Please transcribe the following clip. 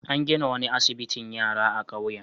An gina wani asbitin yara a kauyen.